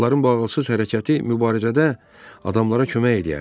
Onların bu ağılsız hərəkəti mübarizədə adamlara kömək eləyərdi.